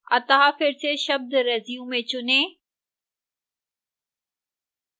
अतः फिर से शब्द resume चुनें